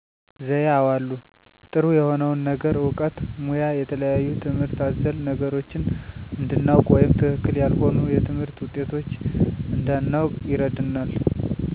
ዘዬ አወ አሉ። ጥሩ የሆነውን ነገር እውቀት ሙያ የተለያዩ ትምህርት አዘል ነገሮችን እንድናውቅ ወይም ትክክል ያልሆኑ የትምህርት ውጤቶች እንድናውቅ ይረዱናል።